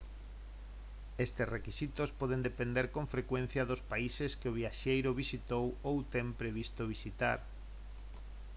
estes requisitos poden depender con frecuencia dos países que o viaxeiro visitou ou ten previsto visitar